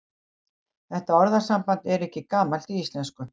Þetta orðasamband er ekki gamalt í íslensku.